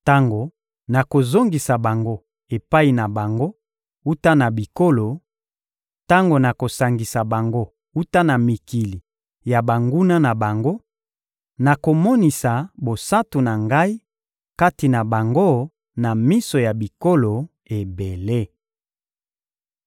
Tango nakozongisa bango epai na bango wuta na bikolo, tango nakosangisa bango wuta na mikili ya banguna na bango, nakomonisa bosantu na Ngai kati na bango na miso ya bikolo ebele.